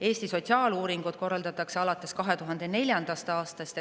Eesti sotsiaaluuringut korraldatakse alates 2004. aastast.